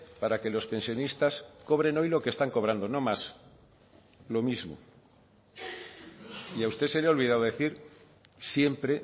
para que los pensionistas cobren hoy lo que están cobrando no más lo mismo y a usted se le ha olvidado decir siempre